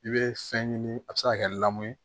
I bɛ fɛn ɲini a bɛ se ka kɛ ye